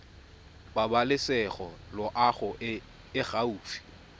pabalesego loago e e gaufi